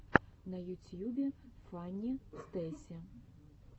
на ютьюбе фанни стейси